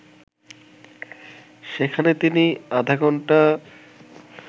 সেখানে তিনি আধা ঘণ্টা